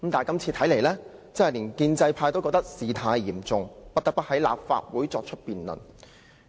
但是，看來今次連建制派也覺得事態嚴重，不得不在立法會辯論。